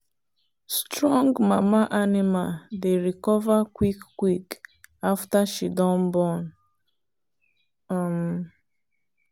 strong mama animal dey recover quick quick after she don born. um